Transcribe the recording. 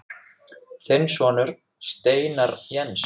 Þinn sonur, Steinar Jens.